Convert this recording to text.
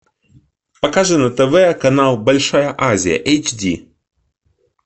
покажи на тв канал большая азия эйч ди